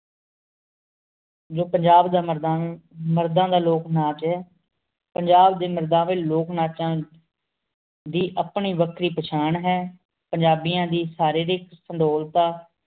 ਜੋ ਪੰਜਾਬ ਦਾ ਮਰਦਾਂ ਮਰਦਾਂ ਦਾ ਲੋਕ ਨਾਚ ਹੈ ਪੰਜਾਬ ਦੇ ਮਰਦਾਵੇਂ ਲੋਕ ਨਾਚਾਂ ਦੀ ਆਪਣੀ ਵਖਰੀ ਪਹਿਚਾਣ ਹੈ। ਪੰਜਾਬੀਆਂ ਦੀ ਸਰੀਰਿਕ ਸੁਡੋਲਤਾ